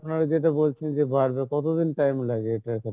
আপনারা যেটা বলছেন যে, বাড়বে কতদিন time লাগে এটার ক্ষেত্রে?